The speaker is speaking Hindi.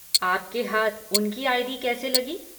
आपके हाथ उनकी आई.डी. कैसे लगी?